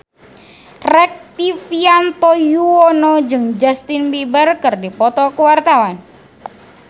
Rektivianto Yoewono jeung Justin Beiber keur dipoto ku wartawan